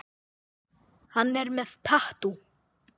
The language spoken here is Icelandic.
Hún er með tattú.